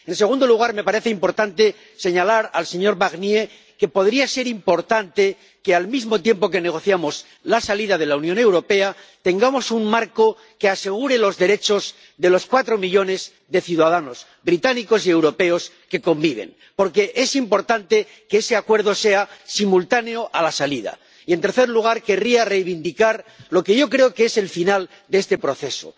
En segundo lugar, me parece importante señalar al señor Barnier que podría ser importante que al mismo tiempo que negociamos la salida de la Unión Europea, tengamos un marco que asegure los derechos de los cuatro millones de ciudadanos británicos y europeos que conviven, porque es importante que ese acuerdo sea simultáneo a la salida. Y, en tercer lugar, querría reivindicar lo que yo creo que es el final de este proceso.